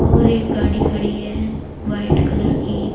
और एक गाड़ी खड़ी है व्हाइट कलर की।